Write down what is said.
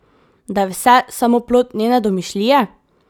Da je vse samo plod njene domišljije?